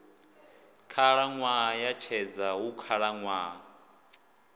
khalaṅwaha ya tshedza hu khalaṅwaha